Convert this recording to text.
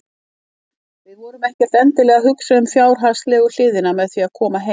Við vorum ekkert endilega að hugsa um fjárhagslegu hliðina með því að koma heim.